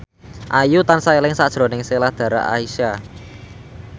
Ayu tansah eling sakjroning Sheila Dara Aisha